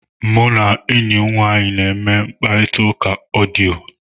Mụ na enyi m nwaanyị na-eme mkparịta ụka odiyo.